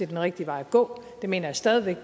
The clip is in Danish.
den rigtige vej at gå det mener jeg stadig